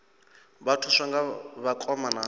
vha thuswa nga vhakoma na